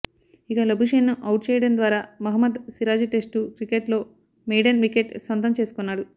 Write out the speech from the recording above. ఇక లబుషేన్ను అవుట్ చేయడం ద్వారా మహ్మద్ సిరాజ్ టెస్టు క్రికెట్లో మెయిడెన్ వికెట్ సొంతం చేసుకున్నాడు